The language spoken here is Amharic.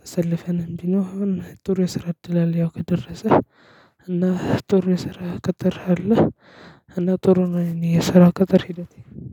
ተሰልፈን እንዲህ ነው አሁን ጥሩ የሰራ እድል አለ ያው ከደረሰ እና ጥሩ የስራ ቅጥር አለ እና ጥሩ ነው የኔ የስራ ቅጥር ሂደቴ